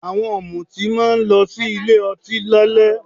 Àwọn ọ̀mùtí máa lọ sí ilé ọtí lálẹ́